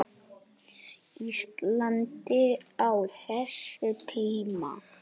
Íslandi á þessum tíma.